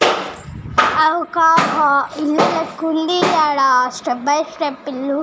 అక్కడ ఒక ఇల్లు లేక్క వుంది అడ స్టెప్ బై స్టెప్ ఇల్లు.